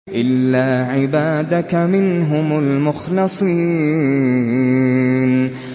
إِلَّا عِبَادَكَ مِنْهُمُ الْمُخْلَصِينَ